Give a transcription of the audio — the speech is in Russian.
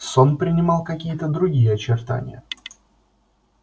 сон принимал какие то другие очертания